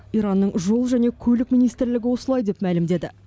иранның жол және көлік министрлігі осылай деп мәлімдеді